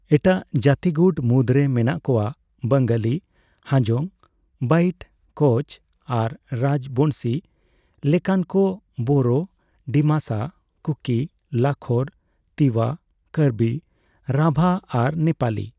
ᱮᱴᱟᱜ ᱡᱟᱛᱤᱜᱩᱴ ᱢᱩᱫᱽᱨᱮ ᱢᱮᱱᱟᱜ ᱠᱚᱣᱟ ᱵᱟᱸᱜᱟᱞᱤ, ᱦᱟᱡᱚᱝ, ᱵᱟᱭᱤᱴ, ᱠᱳᱪ ᱟᱨ ᱨᱟᱡᱽᱵᱚᱝᱥᱤ ᱞᱮᱠᱟᱱ ᱠᱚ, ᱵᱳᱨᱳ, ᱰᱤᱢᱟᱥᱟ, ᱠᱩᱠᱤ, ᱞᱟᱠᱷᱚᱨ, ᱛᱤᱣᱟ, ᱠᱟᱨᱵᱤ, ᱨᱟᱵᱷᱟ ᱟᱨ ᱱᱮᱯᱟᱞᱤ ᱾